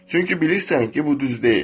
Çünki bilirsən ki, bu düz deyil.